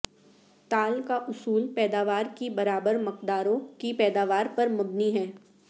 تال کا اصول پیداوار کی برابر مقداروں کی پیداوار پر مبنی ہے